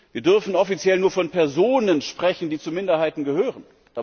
Wir dürfen offiziell nur von Personen sprechen, die zu Minderheiten gehören.